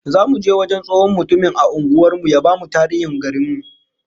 Zamu je wajen tsohon mutumin a unguwar mu ya bamu tarihin garin mu